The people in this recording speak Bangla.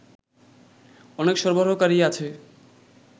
অনেক সরবরাহকারী আছে